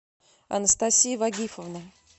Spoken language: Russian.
анастасия вагифовна